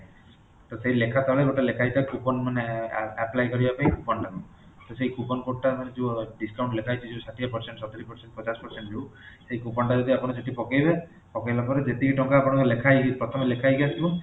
ତ ସେହି ଲେଖା ତଳେ ଗୋଟେ ଲେଖା ହେଇକି ଥାଏ coupon ମାନେ apply କରିବା ପାଇଁ coupon ଟାକୁ ତ ସେହି coupon code ଟା ମାନେ ଯୋଉ discount ଲେଖା ହେଇଚି ଷାଠିଏ percent, ସତୁରି percent, ପଚାଶ percent ଯୋଉଁ ସେହି coupon ଟା ଯଦି ଆପଣ ସେଠି ପକେଇବେ ପକେଇଲାପରେ ଯେତିକି ଟଙ୍କା ଆପଣଙ୍କର ଲେଖା ହେଇଚି ପ୍ରଥେମେ ଲେଖା ହେଇକି ଆସିବ